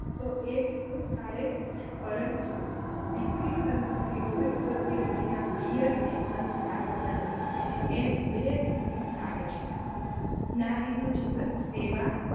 તો એક કુળ તારે પરંતુ દીકરી સંસ્કારી હોય તો તે તેના પિયરને અને સાસરાને એમ બે કુળને તારે છે. નારીનું જીવન સેવા